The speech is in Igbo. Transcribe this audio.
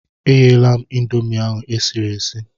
Egheela m Ịndomì ahụ esiri esi.